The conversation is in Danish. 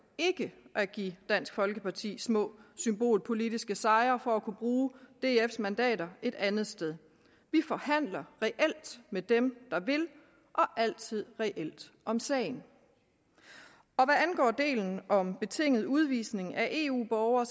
ikke at give dansk folkeparti små symbolpolitiske sejre for at kunne bruge dfs mandater et andet sted vi forhandler reelt med dem der vil og altid reelt om sagen hvad angår delen om betinget udvisning af eu borgere